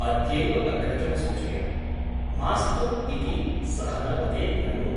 अद्यैव अग्रजं सूचय । मास्तु ' इति सः न वदेत् ननु ?